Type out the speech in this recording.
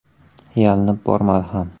Yalinib bormadi ham.